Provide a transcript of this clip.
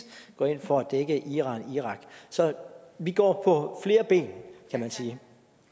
går ind for at dække iran og irak så vi går på flere ben kan man sige